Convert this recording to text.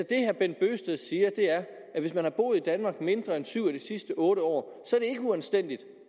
det herre bent bøgsted siger er at hvis man har boet i danmark mindre end syv af de sidste otte år så ikke uanstændigt